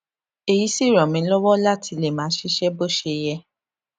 èyí sì ràn mí lówó láti lè máa ṣiṣé bó ṣe yẹ